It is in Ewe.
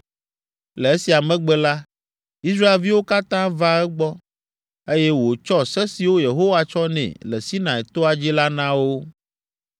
Le esia megbe la, Israelviwo katã va egbɔ, eye wòtsɔ se siwo Yehowa tsɔ nɛ le Sinai toa dzi la na wo.